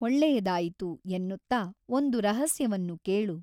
ಒಳ್ಳೆಯದಾಯಿತು ಎನ್ನುತ್ತಾ ಒಂದು ರಹಸ್ಯವನ್ನು ಕೇಳು.